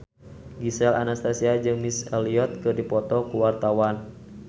Gisel Anastasia jeung Missy Elliott keur dipoto ku wartawan